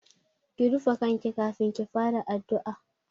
Ki rufe kanki kafin ki fara addu'a!